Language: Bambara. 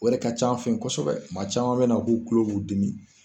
O yɛrɛ ka ca an fɛ kosɛbɛ maa caman bɛ na k'u tulo b'u dimi